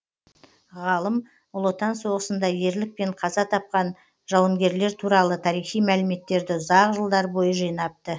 ғалым ұлы отан соғысында ерлікпен қаза тапқан жауынгерлер туралы тарихи мәліметтерді ұзақ жылдар бойы жинапты